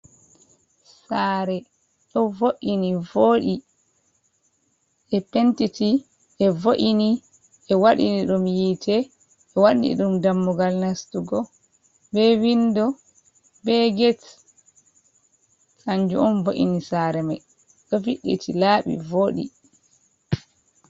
Sare. Ɗo vo’ini voɗi, ɓe pentiti, ɓe vo’ini, ɓe waɗini ɗum yiite, ɓe wanni ɗum dammugal nastugo, ɓe vindo, ɓe get, kanju on vo’ini sare mai, ɗo fiɗɗiti, laabi voɗi.